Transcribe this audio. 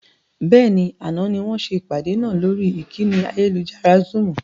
Bẹ́ẹ̀ni, àná ni wọn ṣe ìpàdé náà lórí ìkànnì ayélujára Zoom.